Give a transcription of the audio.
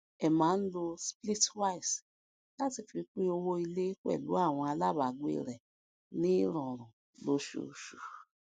emma ń lo splitwise láti fi pín owó ilé pẹlú àwọn alábàágbé rẹ ní rírọrùn lóṣooṣù